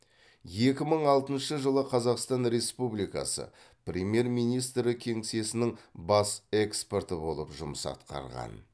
екі мың алтыншы жылы қазақстан республикасы премьер министрі кеңсесінің бас эксперті болып жұмыс атқарған